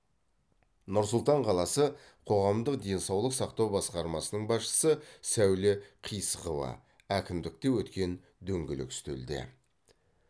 нұр сұлтан қаласы қоғамдық денсаулық сақтау басқармасының басшысы сәуле қисықова әкімдікте өткен дөңгелек үстелде